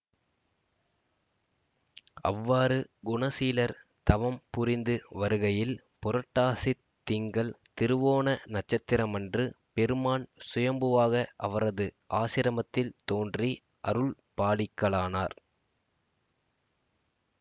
அவ்வாறு குணசீலர் தவம் புரிந்து வருகையில் புரட்டாசித் திங்கள் திருவோண நட்சத்திரமன்று பெருமான் சுயம்புவாக அவரது ஆசிரமத்தில் தோன்றி அருள் பாலிக்கலானார்